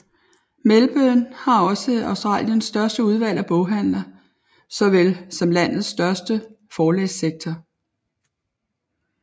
Melbourne har også Australiens største udvalg af boghandler såvel som landets største forlagssektor